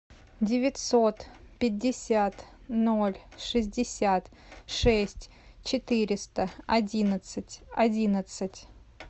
девятьсот пятьдесят ноль шестьдесят шесть четыреста одиннадцать одиннадцать